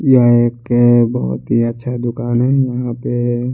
यहा एक बहोत ही अच्छा दूकान है यहा पे--